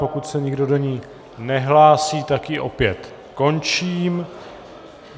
Pokud se nikdo do ní nehlásí, tak ji opět končím.